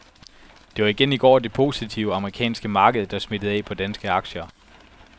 Det var igen i går det positive amerikanske marked, der smittede af på de danske aktier.